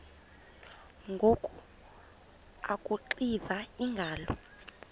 ngoku akuxiva iingalo